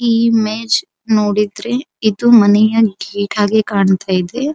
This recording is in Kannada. ಈ ಇಮೇಜ್ ನೋಡಿದ್ರೆ ಇದು ಮನೆಯ ಗೇಟ್ ಆಗಿ ಕಾಣುತ್ತಾ ಇದೆ.